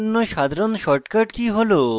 cut করতে ctrl + x